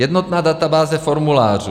Jednotná databáze formulářů.